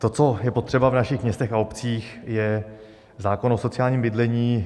To, co je potřeba v našich městech a obcích, je zákon o sociálním bydlení.